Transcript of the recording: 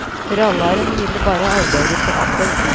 Rallaren ville bare arbeide på akkord.